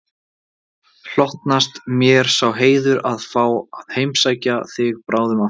Hlotnast mér sá heiður að fá að heimsækja þig bráðum aftur